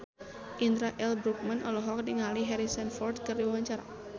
Indra L. Bruggman olohok ningali Harrison Ford keur diwawancara